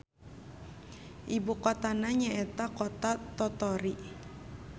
Ibukotana nyaeta Kota Tottori.